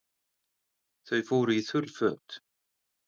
Þau fóru í þurr föt.